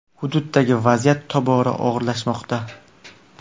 Hududdagi vaziyat tobora og‘irlashmoqda.